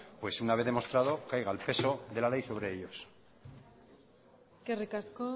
pues una vez demostrado caiga el peso de la ley sobre ellos eskerrik asko